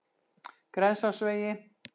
Grensásvegi